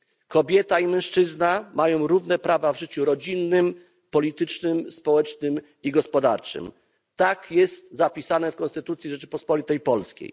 Kobieta i mężczyzna mają równe prawa w życiu rodzinnym, politycznym, społecznym i gospodarczym tak jest zapisane w Konstytucji Rzeczypospolitej Polskiej.